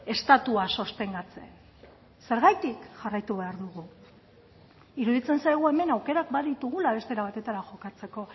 estatua sostengatzen zergatik jarraitu behar dugu iruditzen zaigu hemen aukerak baditugula beste era batera jokatzeko